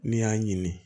N'i y'a ɲini